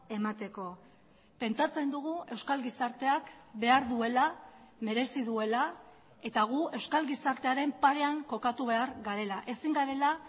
emateko pentsatzen dugu euskal gizarteak behar duela merezi duela eta gu euskal gizartearen parean kokatu behar garela ezin garela